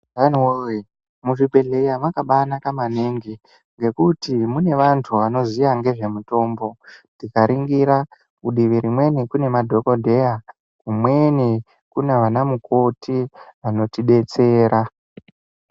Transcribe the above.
...muzvibhehleya makabaanaka maningi ngekuti mune vantu anoziya ngezvemutombo. Tikaringira kudivi rimweni kune madhokodheya kumweni kuna vanamukoti anotidetsera.